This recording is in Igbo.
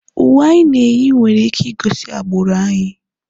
Uwe anyị na-eyi nwere ike igosi agbụrụ anyị.